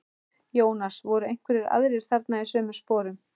Jónas: Voru einhverjir aðrir þarna í sömu sporum?